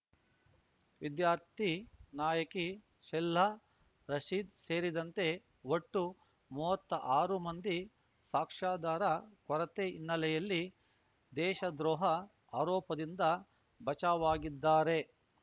ವಿದ್ಯಾರ್ಥಿ ನಾಯಕಿ ಶೆಹ್ಲಾ ರಶೀದ್‌ ಸೇರಿದಂತೆ ಒಟ್ಟು ಮೂವತ್ತ ಆರು ಮಂದಿ ಸಾಕ್ಷ್ಯಾಧಾರ ಕೊರತೆ ಹಿನ್ನೆಲೆಯಲ್ಲಿ ದೇಶದ್ರೋಹ ಆರೋಪದಿಂದ ಬಚಾವಾಗಿದ್ದಾರೆ